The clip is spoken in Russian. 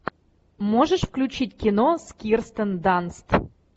можешь включить кино с кирстен данст